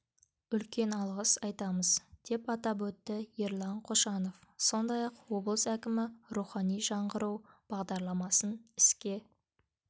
үлкен алғыс айтамыз деп атап өтті ерлан қошанов сондай-ақ облыс әкімі рухани жаңғыру бағдарламасын іске